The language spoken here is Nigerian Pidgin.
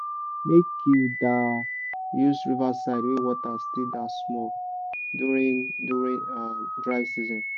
make you da use riverside wey water still da small during during um dry season